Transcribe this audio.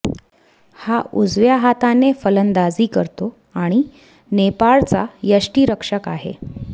हा उजव्या हाताने फलंदाजी करतो आणि नेपाळचा यष्टीरक्षक आहे